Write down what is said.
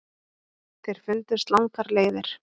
Þeir fundust langar leiðir.